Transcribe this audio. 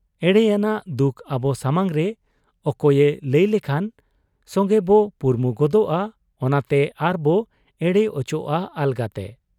ᱮᱲᱮ ᱟᱱᱟᱜ ᱫᱩᱠ ᱟᱵᱚ ᱥᱟᱢᱟᱝᱨᱮ ᱚᱠᱚᱭᱮ ᱞᱟᱹᱭ ᱞᱮᱠᱷᱟᱱ ᱥᱚᱝᱜᱮᱵᱚ ᱯᱩᱨᱢᱩ ᱜᱚᱫᱚᱜ ᱟ ᱚᱱᱟᱛᱮ ᱟᱨᱵᱚ ᱮᱲᱮ ᱚᱪᱚᱜ ᱟ ᱟᱞᱜᱟᱛᱮ ᱾